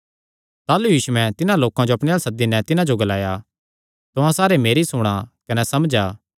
ताह़लू यीशुयैं तिन्हां लोकां जो अपणे अल्ल सद्दी नैं तिन्हां जो ग्लाया तुहां सारे मेरी सुणा कने समझा